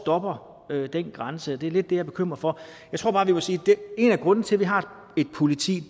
hvor går den grænse det er lidt det jeg er bekymret for jeg tror bare vi må sige at en af grundene til at vi har et politi